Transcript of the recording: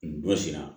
N dɔ sera